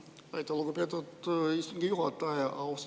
Aitäh, lugupeetud istungi juhataja!